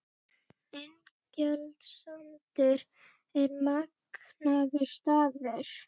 Ingjaldssandur er magnaður staður.